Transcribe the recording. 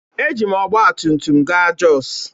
Eji m ọgbatumtum gaa Jos